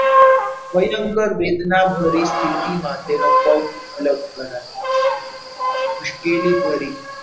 ભયંકર વેદના પરિસ્થિતિમાં તેનો પગ અલગ કરાયો મુશ્કેલી ભરી,